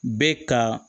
Bɛ ka